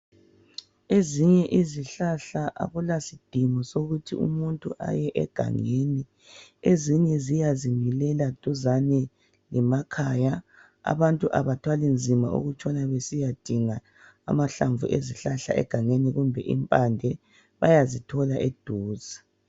Ezinye izihlahla akulasidingo sokuthi uye egangeni. Ezinye ziyazimilela duzane lemakhaya abantu abathwali nzima ukutshona besiyadinga amahlamvu ezihlahla egangeni kumbe impande bayazithola eduze.